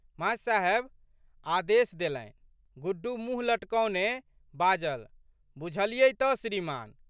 मा.साहेब आदेश देलनि। गुड्डू मुँह लटकौने बाजल,"बुझलियै तऽ श्रीमान्।